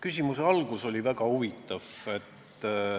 Küsimuse algus oli väga huvitav.